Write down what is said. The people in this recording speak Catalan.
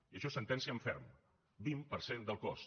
i això és sentència en ferm vint per cent del cost